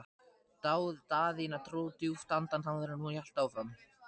Daðína dró djúpt andann áður en hún hélt áfram.